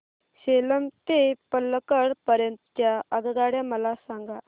सेलम ते पल्लकड पर्यंत च्या आगगाड्या मला सांगा